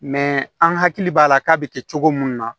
an hakili b'a la k'a bɛ kɛ cogo min na